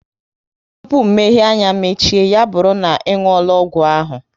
Tụpụ mmehie anya mechie, ya bụrụ na ị nwuola ọgwụ ahụ